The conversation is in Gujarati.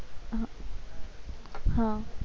હા